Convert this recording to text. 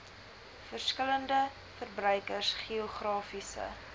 verskillende verbruikers geografiese